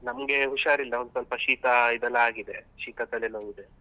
ನಮ್ಗೆ ಹುಷಾರಿಲ್ಲ ಒಂದ್ ಸ್ವಲ್ಪ ಶೀತ ಇದೆಲ್ಲ ಆಗಿದೆ ಶೀತ ತಲೆ ನೋವ್ ಇದೆ.